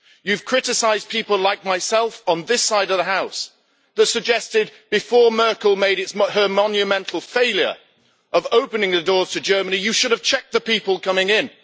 You have criticised people like myself on this side of the House, who suggested before Merkel made her monumental failure of opening the doors to Germany, that you should have checked the people coming in.